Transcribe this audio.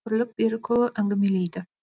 бірлік берікұлы әңгімелейді